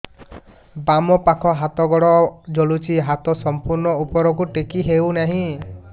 ବାମପାଖ ହାତ ଗୋଡ଼ ଜଳୁଛି ହାତ ସଂପୂର୍ଣ୍ଣ ଉପରକୁ ଟେକି ହେଉନାହିଁ